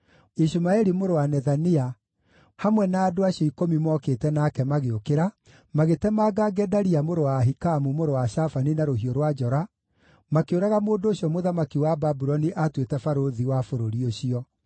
Ishumaeli mũrũ wa Nethania hamwe na andũ acio ikũmi mokĩte nake magĩũkĩra, magĩtemanga Gedalia mũrũ wa Ahikamu, mũrũ wa Shafani na rũhiũ rwa njora, makĩũraga mũndũ ũcio mũthamaki wa Babuloni aatuĩte barũthi wa bũrũri ũcio.